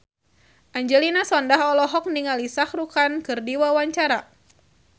Angelina Sondakh olohok ningali Shah Rukh Khan keur diwawancara